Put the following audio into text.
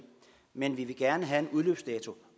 men vi vil gerne have en udløbsdato